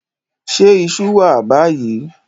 Ṣé iṣú wà báyìí?